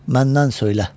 Məndən söylə.